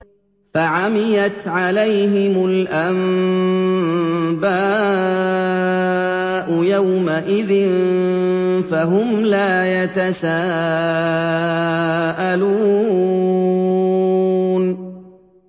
فَعَمِيَتْ عَلَيْهِمُ الْأَنبَاءُ يَوْمَئِذٍ فَهُمْ لَا يَتَسَاءَلُونَ